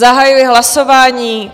Zahajuji hlasování.